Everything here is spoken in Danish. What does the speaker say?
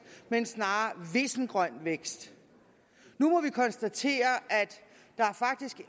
men snarere vissengrøn vækst nu må vi konstatere at der faktisk